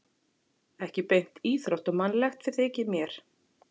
Ekki beint íþróttamannslegt þótti mér.